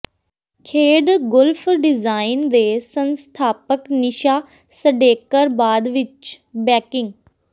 ਖੇਡ golf design ਦੇ ਸੰਸਥਾਪਕ ਨੀਸ਼ਾ ਸਡੇਕਰ ਬਾਅਦ ਵਿਚ ਬੈਂਕਿੰਗ